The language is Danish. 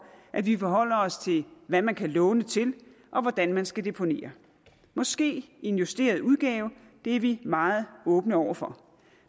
at vi forholder os til hvad man kan låne til og hvordan man skal deponere måske i en justeret udgave det er vi meget åbne over for